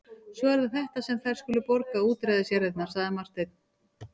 Svo það er þetta sem þær skulu borga útræðisjarðirnar, sagði Marteinn.